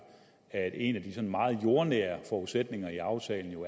at en af de sådan meget jordnære forudsætninger i aftalen jo